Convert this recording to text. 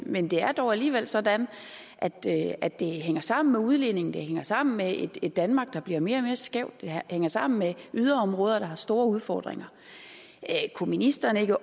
men det er dog alligevel sådan at det at det hænger sammen med udligningen det hænger sammen med et danmark der bliver mere og mere skævt det hænger sammen med yderområder der har store udfordringer kunne ministeren ikke